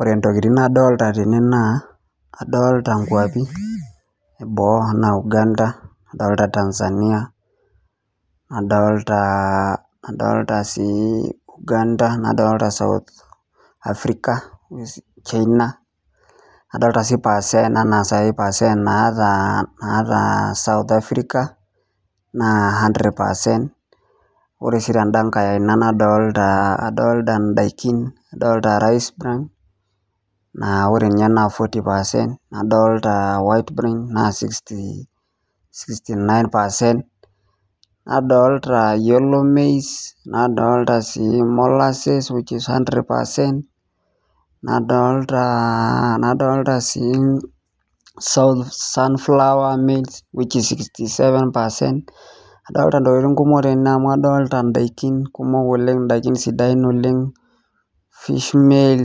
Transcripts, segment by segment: Oree ntokitin nadolita tene naa adolitaa ngwapii eboo enaa Uganda Tanzania South Africa China nadolitaa si percent 100%adolita rice 40 white brim ýelow maize molasses 100%sunflower 67%adolita ntakin kumok oleng sidaini fish mail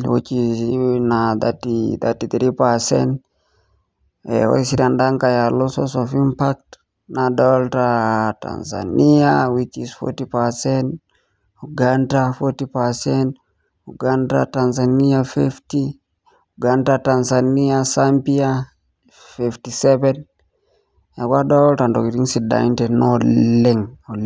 33%source of impact Tanzania 40%Uganda 40%zambia 57%kadolitaa ntokitin sidain tene